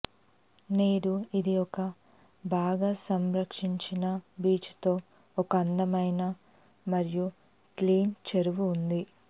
నేడు ఇది ఒక బాగా సంరక్షించిన బీచ్ తో ఒక అందమైన మరియు క్లీన్ చెరువు ఉంది